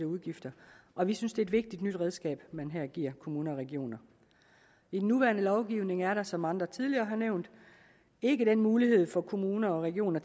udgifter og vi synes det er et vigtigt nyt redskab man her giver kommuner og regioner i den nuværende lovgivning er der som andre tidligere har nævnt ikke den mulighed for kommuner og regioner